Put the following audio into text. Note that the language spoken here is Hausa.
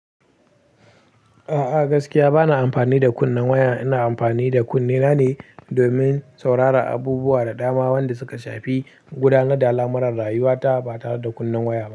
A'a gaskiya bana amfani da kunnen waya, ina amfani da kunnen na ne domin saurara abubuwa da dama, wanda suka shafi gudanar da alamar rayuwa ta ba tare da kunnen waya ba.